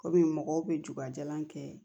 Komi mɔgɔw bɛ jugajalan kɛ